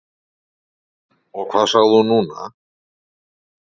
Og hvað sagði hún núna?